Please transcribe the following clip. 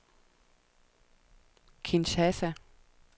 Kinshasa